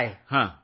उत्पादन करतो